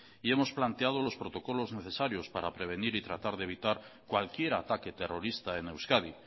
y hemos planteado los protocolos necesarios para prevenir y tratar de evitar cualquier ataque terrorista en euskadi